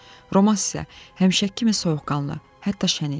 Romass isə həminki kimi soyuqanlı, hətta şən idi.